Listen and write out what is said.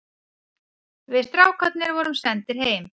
Við strákarnir vorum sendir heim.